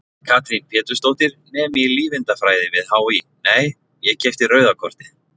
Katrín Pétursdóttir, nemi í lífeindafræði við HÍ: Nei, ég keypti rauða kortið?